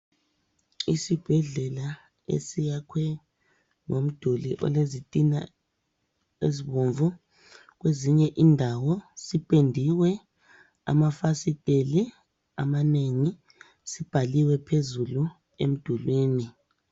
Isibhedlela esiyakhwe ngomduli olezitina ezibomvu. Kwezinye indawo sipendiwe, amafasiteli amanengi. Sibhaliwe phezulu emdulwini.